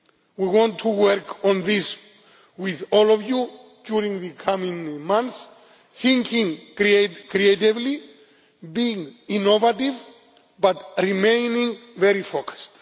We want to work on this with all of you during the coming months, thinking creatively, being innovative, but remaining very focused.